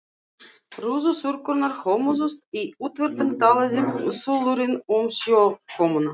Rúðuþurrkurnar hömuðust, í útvarpinu talaði þulurinn um snjókomuna.